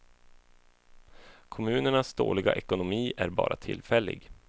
Kommunernas dåliga ekonomi är bara tillfällig.